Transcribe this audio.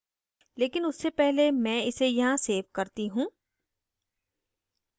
लेकिन उससे पहले मैं इसे यहाँ सेव करती हूँ